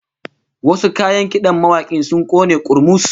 Wasu kayan kidan mawakin sun kone kurmus